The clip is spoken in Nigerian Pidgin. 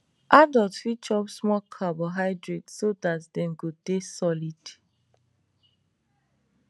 adult fit chop small carbohydrate so that dem go dey solid